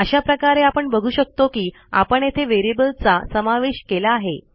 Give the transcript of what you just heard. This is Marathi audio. अशा प्रकारे आपण बघू शकतो की आपण येथे व्हेरिएबलचा समावेश केला आहे